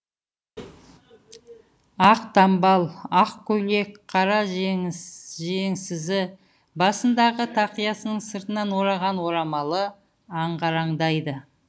ақ дамбал ақ көйлек қара жеңсізі басындағы тақиясының сыртынан ораған орамалы ағараңдайды